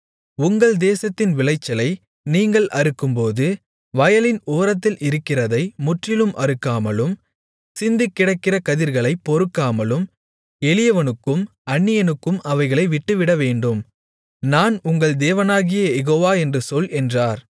உங்கள் தேசத்தின் விளைச்சலை நீங்கள் அறுக்கும்போது வயலின் ஓரத்தில் இருக்கிறதை முற்றிலும் அறுக்காமலும் சிந்திக்கிடக்கிற கதிர்களைப் பொறுக்காமலும் எளியவனுக்கும் அந்நியனுக்கும் அவைகளை விட்டுவிடவேண்டும் நான் உங்கள் தேவனாகிய யெகோவா என்று சொல் என்றார்